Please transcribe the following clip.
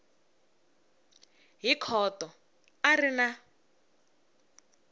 hi khoto a ri na